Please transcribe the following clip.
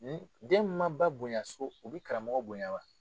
Ni den min man ba bonya so o bɛ karamɔgɔ bonya wa?